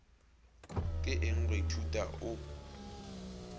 ke eng go ithuta o